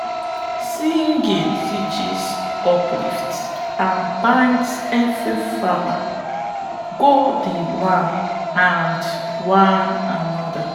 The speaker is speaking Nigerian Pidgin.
singing teaches uplifts and binds everi farmer go di land and one anoda